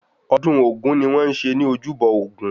Ọdún ogún ni wọ́n ń ṣe ní ojúbọ Ògún